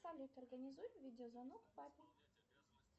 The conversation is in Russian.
салют организуй видеозвонок папе